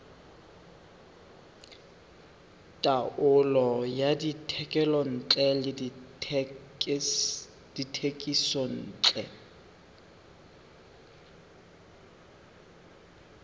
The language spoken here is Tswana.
taolo ya dithekontle le dithekisontle